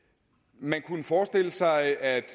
man kunne forestille sig at